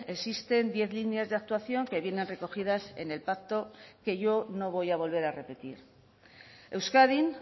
existen diez líneas de actuación que vienen recogidas en el pacto que yo no voy a volver a repetir euskadin